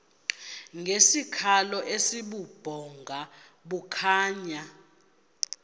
ngesikhalo esibubhonga bukhonya